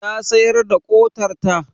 Ta sayar da ƙodarta?